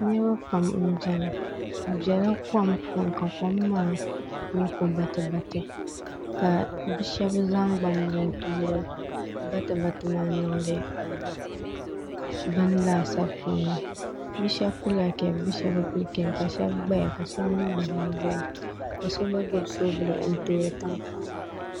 Niriba pam m-be ni bɛ bela kom puuni bɛ bela kom puuni ka kom maa nyɛ batibati ka bɛ shɛba zaŋ gbambila n-toori batibati maa n-niŋdi beni laasabu puuni bɛ shɛba pilila kaapu bɛ shɛba bɛ pili kaapu ka shɛba gbaya ka shɛba mi gba zanzaya ka so gba gbubi soovuli n-toori tankpaɣu